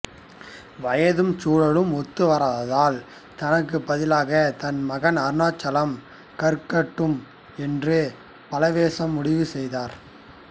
வயதும் சூழலும் ஒத்து வராததால் தனக்குப் பதிலாக தன் மகன் அருணாசலம் கற்கட்டும் என்று பலவேசம் முடிவு செய்தார்